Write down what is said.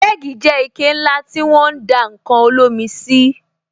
Kẹ́gì jẹ́ ike ńlá tí won ń dá ǹkan olómi sí